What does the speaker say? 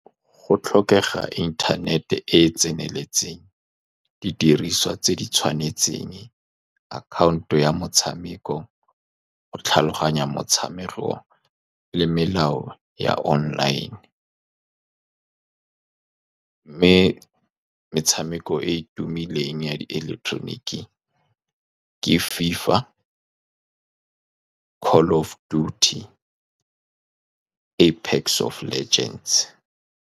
Go tlhokega internet-e e e tseneletseng. Di diriswa tse di tshwanetseng, akhaonto ya motshameko go tlhaloganya motshameko le melao ya online, mme metshameko e e tumileng ya di ileketoroniki ke FIFA, Call Of Dudy, Apex Of Legends.